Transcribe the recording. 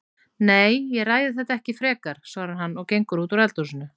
Nei, ég ræði þetta ekki frekar, svarar hann og gengur út úr eldhúsinu.